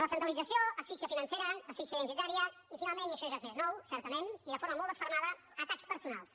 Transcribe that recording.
recentralització asfíxia financera asfíxia identitària i finalment i això ja és més nou certament i de forma molt desfermada atacs personals